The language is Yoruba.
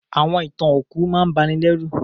Àwọn ìtàn òkú máà n banilérù